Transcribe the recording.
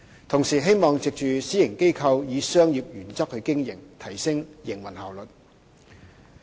同時，希望藉私營機構以商業原則經營，提升營運效率。